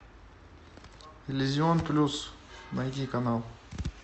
иллюзион плюс найди канал